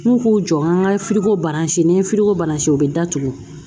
N'u k'u jɔ n ka baransi n'an ye u bɛ datugu